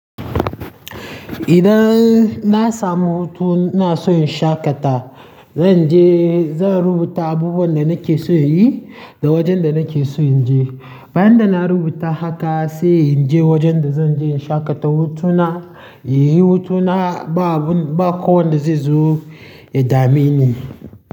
Idan na samu hutuna ina son in shaƙata, zan je-- zan rubuta abubuwan da nake so in yi da wajen da nake so in je. Bayan da na rubuta haka sai in je wajen da zan je in shaƙata hutuna. Inyi hutuna ba kowanda zai zo ya dameni.